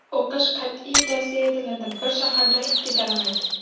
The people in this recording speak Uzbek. O‘qish qat’iy tavsiya etiladi: Bir shaharda ikki davlat.